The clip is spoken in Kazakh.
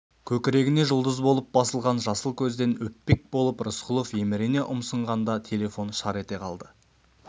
көкірегіне жұлдыз болып басылған жасыл көзден өппек болып рысқұлов емірене ұмсынғанда телефон шар ете қалды